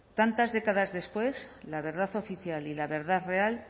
tantas décadas después la verdad oficial y la verdad real